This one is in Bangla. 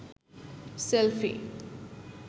সেলফি